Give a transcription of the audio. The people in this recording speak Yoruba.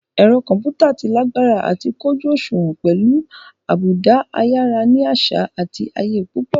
Ẹ̀rọ kọ̀ḿpútà tí lágbára àti kójú òṣùwọ̀n pẹ̀lú àbùdá ayára ní àṣà àti ayé púpọ̀